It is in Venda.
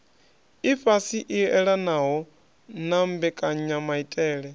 ifhasi i elanaho na mbekanyamaitele